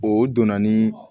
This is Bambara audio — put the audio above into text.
O donna ni